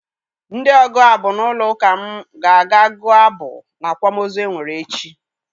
Ndị ọgụ abụ n'ụlọ ụka m ga-aga gụọ abụ n'akwamozu e nwere echi.